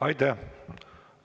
Aitäh!